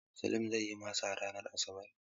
Salim zai yi masa ranar Asabar.